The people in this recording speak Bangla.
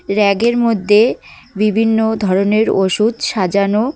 ব়্যাগের মধ্যে বিভিন্ন ধরনের ওষুধ সাজানো--